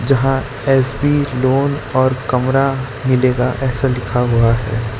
जहां S B loan और कमरा मिलेगा ऐसा लिखा हुआ है।